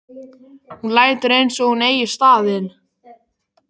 Hún lætur eins og hún eigi staðinn.